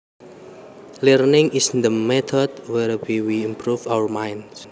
Learning is the method whereby we improve our minds